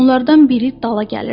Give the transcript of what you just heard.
Onlardan biri dala gəlirdi.